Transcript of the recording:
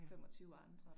Ja